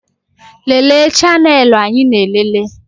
Lelee chanelụ anyị na-elele